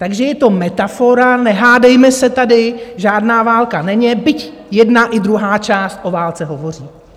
Takže je to metafora, nehádejme se tady, žádná válka není, byť jedna i druhá část o válce hovoří.